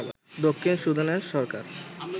দক্ষিণ সুদানের সরকার